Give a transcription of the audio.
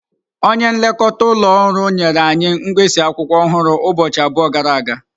Onye nlekọta ụlọ ọrụ nyere anyị mkpịsị akwụkwọ ọhụrụ ụbọchị abụọ gara aga.